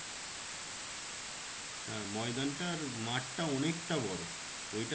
হ্যাঁ ময়দানটার মাঠটা অনেকটা বড়ো ওইটা